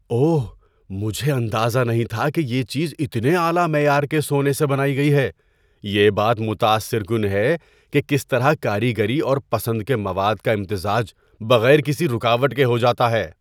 اوہ، مجھے اندازہ نہیں تھا کہ یہ چیز اتنے اعلی معیار کے سونے سے بنائی گئی ہے۔ یہ بات متاثر کن ہے کہ کس طرح کاریگری اور پسند کے مواد کا امتزاج بغیر کسی رکاوٹ کے ہو جاتا ہے۔